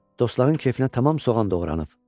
dostların kefinə tamam soğan doğranıb.